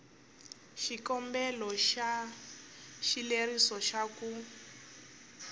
xikombelo xa xileriso xa ku